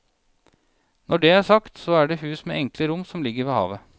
Når det er sagt, så er det et hus med enkle rom som ligger ved havet.